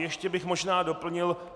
Ještě bych možná doplnil.